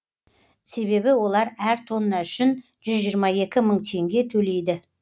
себебі олар әр тонна үшін жүз жиырма екі мың теңге төлейді